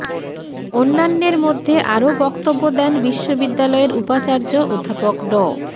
অন্যান্যের মধ্যে আরো বক্তব্য দেন বিশ্ববিদ্যালয়ের উপাচার্য অধ্যাপক ড